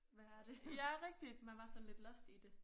Hvad er det man var sådan lidt lost i det